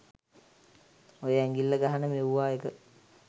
ඔය ඇඟිල්ල ගහන මෙවුවා එක